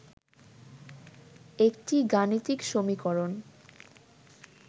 একটি গাণিতিক সমীকরণ